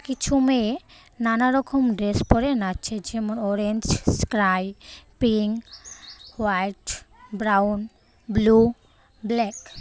কিছু মেয়ে নানারকম ড্রেস পড়ে নাচছে যেমন অরেঞ্জ স্ক্রাই pink white brown blue black .